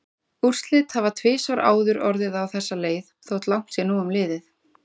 Úrslit hafa tvisvar áður orðið á þessa leið þótt langt sé nú um liðið.